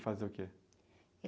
Ele fazia o quê?